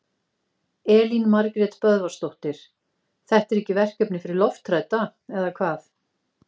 Elín Margrét Böðvarsdóttir: Þetta er ekki verkefni fyrir lofthrædda, eða hvað?